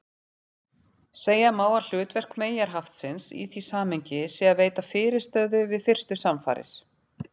Segja má að hlutverk meyjarhaftsins í því samhengi sé að veita fyrirstöðu við fyrstu samfarir.